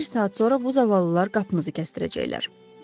Bir saat sonra bu zavallılar qapımızı kəsdirəcəklər.